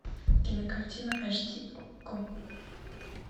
кинокартина аш ди окко